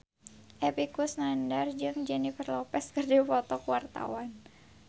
Epy Kusnandar jeung Jennifer Lopez keur dipoto ku wartawan